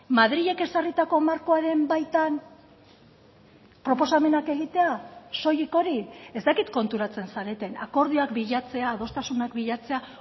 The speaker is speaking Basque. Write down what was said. madrilek ezarritako markoaren baitan proposamenak egitea soilik hori ez dakit konturatzen zareten akordioak bilatzea adostasunak bilatzea